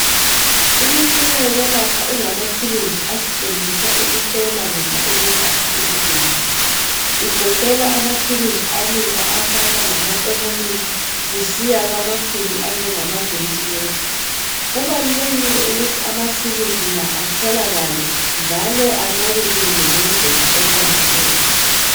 Imitshina yokwelapha ingamathuluzi asetshenziswa ukuhlola noma ukwelapha izigulane, igoqela amathuluzi alula afana lama "thermometer" kusiya kwamakhulu anjengama "ventilator". Kubalulekile ukuthi amathuluzi la atholakale njalo anakekelwe ngendlela eqondileyo.